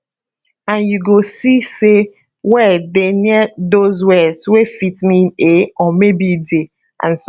and you go see say word dey near dose words wey fit mean a or maybe di and so on